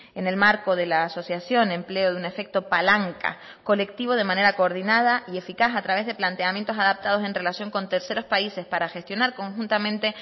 en el marco de la asociación empleo de un efecto palanca colectivo de manera coordinada y eficaz a través de planteamientos adaptados en relación con terceros países para gestionar conjuntamente